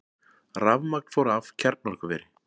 Rafmagn fór af kjarnorkuveri